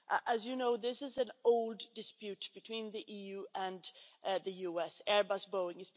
As you know, this is an old dispute between the EU and the US Airbus Boeing.